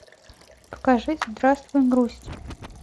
покажи здравствуй грусть